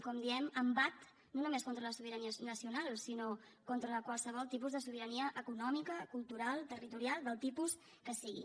com diem embat no només contra la sobirania nacional sinó contra qualsevol tipus de sobirania econòmica cultural territorial del tipus que sigui